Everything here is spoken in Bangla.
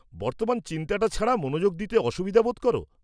বর্তমান চিন্তাটা ছাড়া মনোযোগ দিতে অসুবিধা বোধ করো?